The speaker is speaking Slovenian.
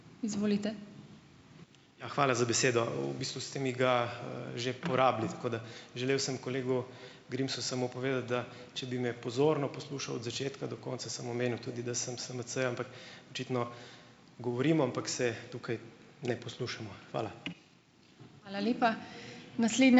Ja, hvala za besedo. V bistvu ste mi ga, že porabili. Tako da želel sem kolegu Grimsu samo povedati, da če bi me pozorno poslušal od začetka do konca, sem omenil tudi, da sem SMC-jem. Očitno govorim, ampak se tukaj ne poslušamo. Hvala.